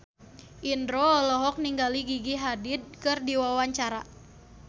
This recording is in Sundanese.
Indro olohok ningali Gigi Hadid keur diwawancara